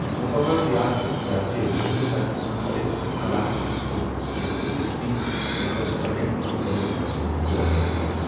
مُکمل ریاستُك درجہِ حاصل کرنس منز چھے٘ علاقہٕ چہِ حكوُمژ كینٛہہ دِلچسپی ، مگر بجٹ مسٲئلن پیٹھ چھُ غور سپدان ۔